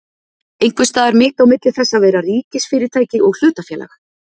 Einhvers staðar mitt á milli þess að vera ríkisfyrirtæki og hlutafélag?